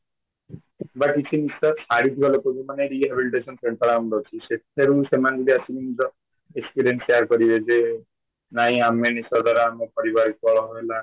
ବା କିଛି ନିଶା ଛାଡିଥିବା ଲୋକଙ୍କୁ ମାନେ rehibition ରେ ଅଛି ସେ ତେଣୁ ସେମାନେ ଯଦି ଆସିକି ନିଜ experience share କରିବେ ଜେ ନାଇଁ ଆମେ ନିଶା ଦ୍ଵାରା ଆମ ପରିବାର କଳହ ହେଲା